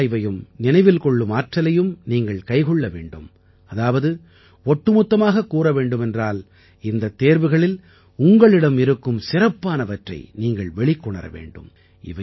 மீளாய்வையும் நினைவில் கொள்ளும் ஆற்றலையும் நீங்கள் கைக்கொள்ள வேண்டும் அதாவது ஒட்டுமொத்தமாகக் கூற வேண்டுமென்றால் இந்தத் தேர்வுகளில் உங்களிடம் இருக்கும் சிறப்பானவற்றை நீங்கள் வெளிக்கொணர வேண்டும்